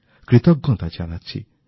কৃতজ্ঞতা জানাচ্ছি